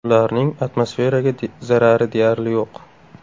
Ularning atmosferaga zarari deyarli yo‘q.